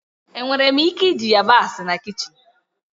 Enwere m ike iji yabasị na kichin?